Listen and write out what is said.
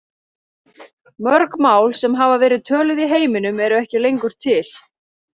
Mörg mál sem hafa verið töluð í heiminum eru ekki lengur til.